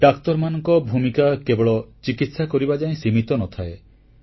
ଡାକ୍ତରମାନଙ୍କ ଭୂମିକା କେବଳ ଚିକିତ୍ସା କରିବା ଯାଏ ସୀମିତ ନ ଥାଏ